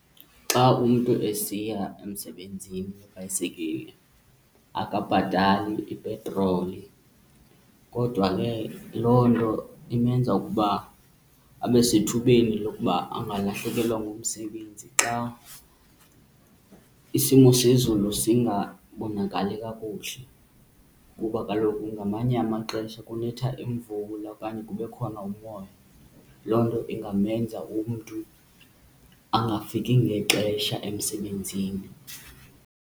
Xa umntu esiya emsebenzini ngebhayisekile akabhatali ipetroli kodwa ke loo nto imenza ukuba abe sethubeni lokuba angalahlekelwa ngumsebenzi xa isimo sezulu singabonakali kakuhle, kuba kaloku ngamanye amaxesha kunetha imvula okanye kube khona umoya. Loo nto ingamenza umntu angafiki ngexesha emsebenzini.